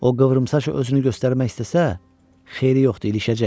O qıvrımsaç özünü göstərmək istəsə, xeyri yoxdur, ilişəcək.